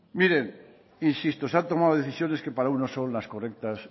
miren insisto se han tomado decisiones que para unos son las correctas